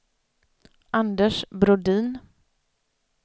Anders Brodin